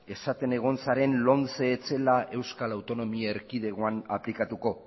esaten egon zaren lomce ez zela euskal autonomia erkidegoan aplikatuko